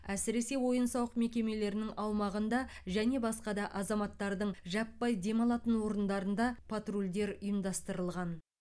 әсіресе ойын сауық мекемелерінің аумағында және басқа да азаматтардың жаппай демалатын орындарында патрульдер ұйымдастырылған